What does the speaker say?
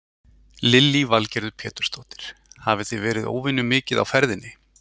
Lillý Valgerður Pétursdóttir: Hafið þið verið óvenju mikið á ferðinni?